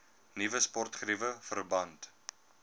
nuwe sportgeriewe verband